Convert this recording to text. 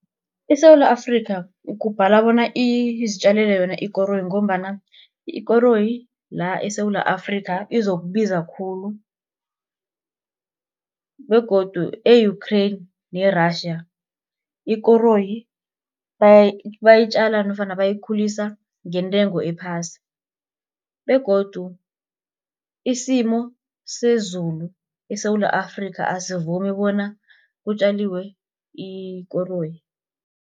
ISewula Afrika kubhala bona izitjalele yona ikoroyi ngombana ikoroyi la eSewula Afrika izokubiza khulu begodu e-Ukrain ne-Russia ikoroyi bayitjala nofana bayikhulisa ngentengo ephasi begodu isimo sezulu eSewula Afrika asivumi bona kutjaliwe ikoroyi.